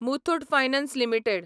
Muthoot finance limited